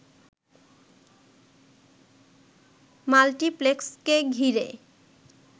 মাল্টিপ্লেক্সকে ঘিরে